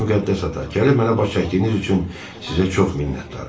Hər halda müqəddəs ata, gəlib mənə baş çəkdiyiniz üçün sizə çox minnətdaram.